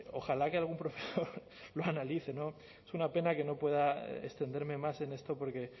ojalá que algún profesor lo analice no es una pena que no pueda extenderme más en esto porque